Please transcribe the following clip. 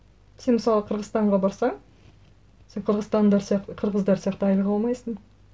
сен мысалы қырғызстанға барсаң сен қырғыздар сияқты айлық алмайсың